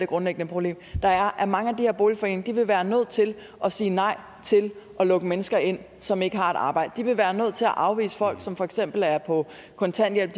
grundlæggende problem er at mange af her boligforeninger vil være nødt til at sige nej til at lukke mennesker ind som ikke har et arbejde de vil være nødt til at afvise folk som for eksempel er på kontanthjælp